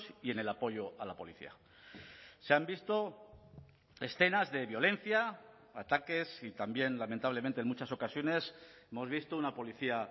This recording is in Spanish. y en el apoyo a la policía se han visto escenas de violencia ataques y también lamentablemente en muchas ocasiones hemos visto una policía